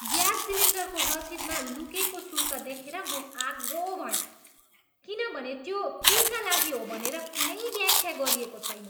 Gas सिलिन्डरको रसिदमा लुकेको शुल्क देखेर म आगो भएँ किनभने त्यो केका लागि हो भनेर कुनै व्याख्या गरिएको छैन।